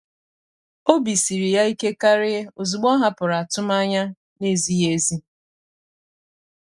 obi siri ya ike kàrị́ ozugbo ọ́ hàpụ̀rụ̀ atụmanya nà-ézíghị́ ézí.